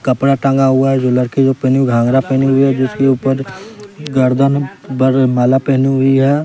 कपड़ा टंगा हुआ है जो लड़की जो पहनी हुई घाघरा पहनी हुई है जिसके ऊपर गर्दन पर माला पहनी हुई है।